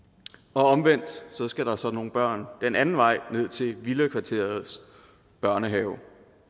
omvendt skal der så nogle børn den anden vej ned til villakvarterets børnehave